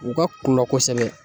U ka kulɔ kosɛbɛ